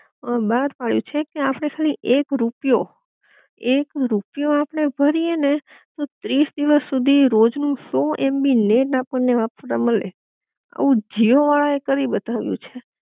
અ બાર પડ્યું છે કે, આપડે ખાલી એક રૂપિયો, એક રૂપિયો આપડે ભરી એ ને તો ત્રીસ દિવસ સુધી રોજ નું સો એમબી નેટ આપડને વાપરવા મલે આવું જીઓ વાળા કરી બતાવ્યું છે